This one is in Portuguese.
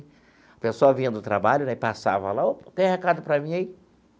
Pessoal vinha do trabalho né passava lá, ó, tem recado para mim aí?